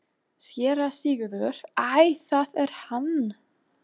SÉRA SIGURÐUR: Æ, það er hann!